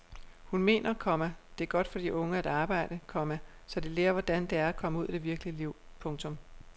Hun mener, komma det er godt for de unge at arbejde, komma så de lærer hvordan det er at komme ud i det virkelige liv. punktum